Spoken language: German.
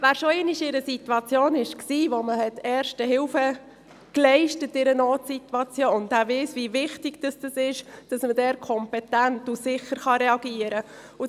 Wer sich schon einmal in einer Notsituation befand, in der Erste Hilfe geleistet wurde, weiss, wie wichtig es ist, dass man kompetent und sicher reagieren kann.